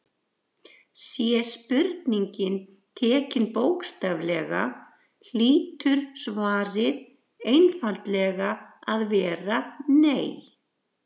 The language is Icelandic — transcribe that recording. Sé spurningin tekin bókstaflega hlýtur svarið einfaldlega að vera nei.